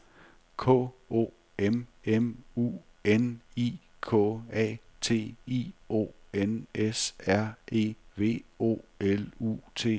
K O M M U N I K A T I O N S R E V O L U T I O N E N